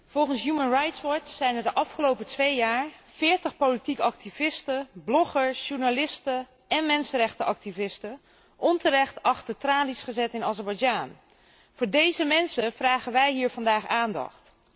Volgens Human Rights Watch zijn er de afgelopen twee jaar veertig politiek activisten, bloggers, journalisten en mensenrechtenactivisten onterecht achter de tralies gezet in Azerbeidzjan. Voor deze mensen vragen wij hier vandaag aandacht.